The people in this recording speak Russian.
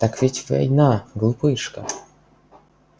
так ведь война глупышка